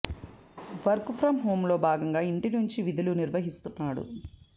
work from హోంలో భాగంగా ఇంటి నుంచే విధులు నిర్వహిస్తున్నాడు